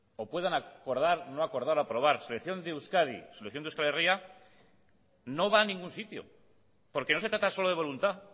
o puedan acordar no acordar o aprobar selección de euskadi selección de euskal herria no va a ningún sitio porque no se trata solo de voluntad